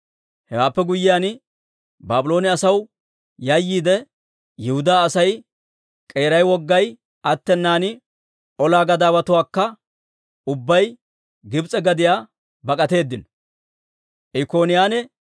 Hewaappe guyyiyaan, Baabloone asaw yayyiide, Yihudaa asay, k'eeray wogay attenan, olaa gadaawatuwaanakka ubbay Gibs'e gadiyaa bak'atteedino.